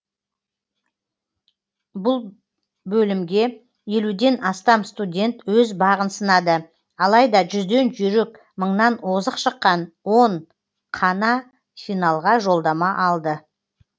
бұл бөлімге елуден астам студент өз бағын сынады алайда жүзден жұйрік мыңнан озық шыққан он қана финалға жолдама алды